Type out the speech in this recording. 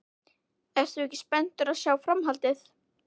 Ert þú ekki spenntur að sjá framhaldið?